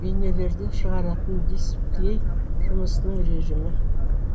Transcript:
бейнелерді шығаратын дисплей жұмысының режімі